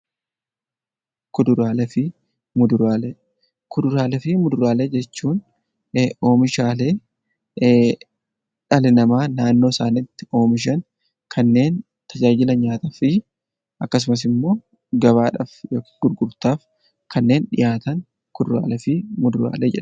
Kuduraalee fi muduraalee Kuduraalee fi muduraalee jechuun oomishaalee dhalli namaa naannoo isaaniitti oomishan kanneen tajaajila nyaataaf oolan akkasumas gabaadhaaf gurgurtaaf kanneen dhihaatan kuduraalee fi muduraalee jenna.